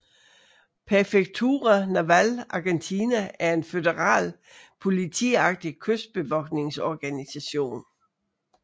Prefectura Naval Argentina er en føderal politiagtig kystbevogtningsorganisation